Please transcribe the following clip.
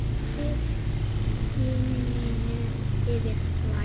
Hellið gininu yfir flakið.